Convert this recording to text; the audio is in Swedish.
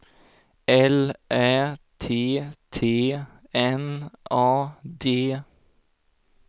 L Ä T T N A D